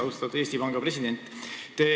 Austatud Eesti Panga president!